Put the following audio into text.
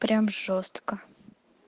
прям жёстко